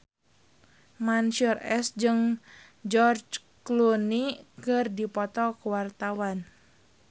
Mansyur S jeung George Clooney keur dipoto ku wartawan